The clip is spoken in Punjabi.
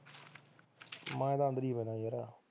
ਮੈਂ ਤਾਂ ਅੰਦਰ ਹੀ ਸੋਣਾ ਯਾਰ